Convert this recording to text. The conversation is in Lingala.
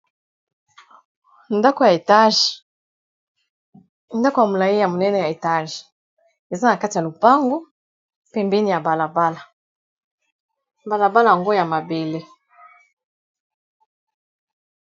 ndako ya molai ya monene ya etage eza na kati ya lopango pe mbeni ya balabala balabala yango ya mabele